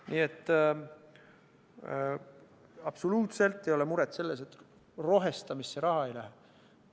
Nii et absoluutselt ei ole muret selles, et rohestamisse raha ei läheks.